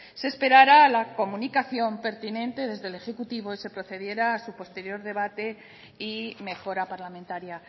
se esperara a la comunicación pertinente desde el ejecutivo y se procediera a su posterior debate y mejora parlamentaria